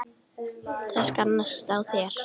Það sannast á þér.